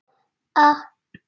Lok bókar